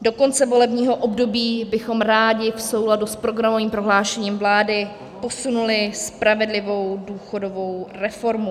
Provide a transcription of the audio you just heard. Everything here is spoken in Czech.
Do konce volebního období bychom rádi v souladu s programovým prohlášením vlády posunuli spravedlivou důchodovou reformu.